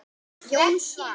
Jón Svan.